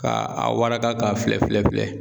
Ka a waraka k'a filɛ filɛ filɛ